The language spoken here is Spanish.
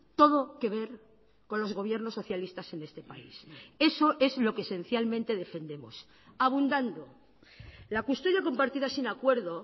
todo que ver con los gobiernos socialistas en este país eso es lo que esencialmente defendemos abundando la custodia compartida sin acuerdo